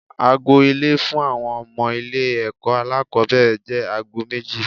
Ago ìlọlé fún àwọn ọmọ ilé ẹ̀kọ́ alákòbẹ̀rẹ̀ jẹ́ aago méjì.